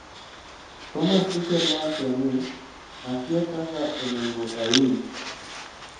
Thomas Tuchel nowacho ni, "akia kaka onengo awinj."